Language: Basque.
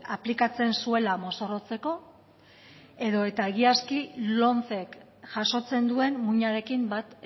aplikatzen zuela mozorrotzeko edo eta egiazki lomcek jasotzen duen muinarekin bat